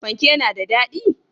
Fanke na da dadi?